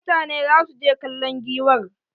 Mutane za su je kallon giwar.